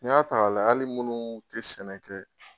N'i y'a ta k'a layɛ hali munnu te sɛnɛ kɛ